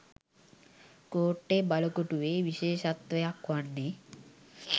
කෝට්ටේ බළකොටුවේ විශේෂත්වයක් වන්නේ